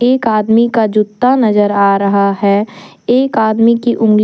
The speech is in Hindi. एक आदमी का जूता नजर आ रहा है एक आदमी की उंगली--